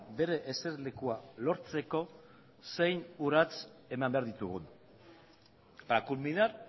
bere eserlekua lortzeko zein urrats eman behar ditugun para culminar